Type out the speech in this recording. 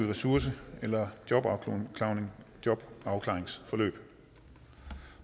ressourceforløb eller i et jobafklaringsforløb